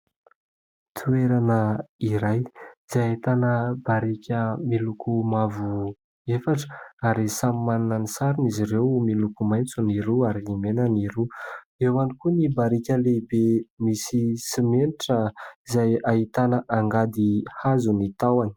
Toerana iray izay ahitana barika miloko mavo efatra ary samy manana ny sarony izy ireo, miloko maitso ny roa ary ny mena ny roa. Eo ihany koa ny barika lehibe misy simenitra izay ahitana angady hazo ny tahony.